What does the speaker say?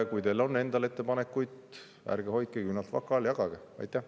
Kui teil on endal ettepanekuid, siis ärge hoidke küünalt vaka all, jagage neid.